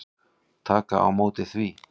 Taka á móti því.